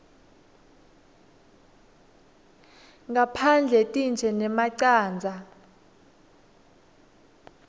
ngaphandle tintje nemacandza